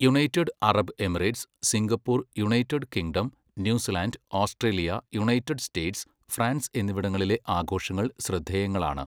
United Arab Emirates, Singapore, United Kingdom, New Zealand, Australia, United States, France എന്നിവിടങ്ങളിലെ ആഘോഷങ്ങൾ ശ്രദ്ധേയങ്ങളാണ്.